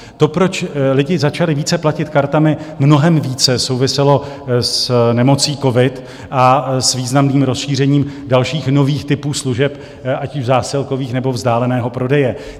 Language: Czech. To, proč lidi začali více platit kartami, mnohem více souviselo s nemocí covid a s významným rozšířením dalších nových typů služeb, ať už zásilkových, nebo vzdáleného prodeje.